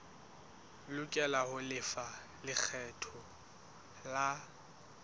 lokela ho lefa lekgetho la